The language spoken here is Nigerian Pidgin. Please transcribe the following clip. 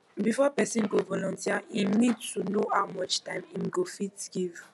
before person go volunteer im need to know how much time im go fit give